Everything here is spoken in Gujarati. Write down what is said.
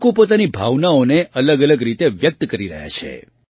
લોકો પોતાની ભાવનાઓને અલગઅલગ રીતે વ્યક્ત કરી રહ્યા છે